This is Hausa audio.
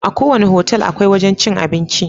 Aku wanna hotel akwai wajan cin abinci